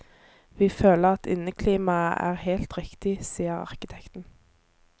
Vi føler at inneklimaet er helt riktig, sier arkitekten.